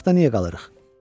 Baraxda niyə qalırıq?